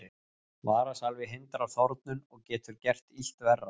Varasalvi hindrar þornun og getur gert illt verra.